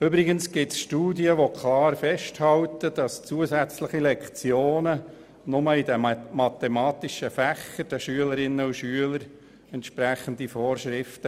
Übrigens gibt es Studien, die klar festhalten, dass zusätzliche Lektionen nur in den mathematischen Fächern für die Schülerinnen und Schüler einen entsprechenden Vorteil bringen.